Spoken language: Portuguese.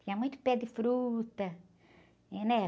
Tinha muito pé de fruta, né? Eh, né?